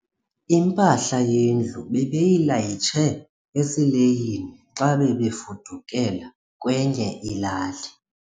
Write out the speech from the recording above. Impahla yendlu bebeyilayishe esileyini xa bebefudukela kwenye ilali.